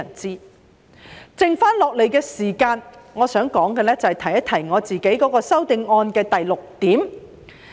在剩下來的時間，我想說說我的修正案的第六點。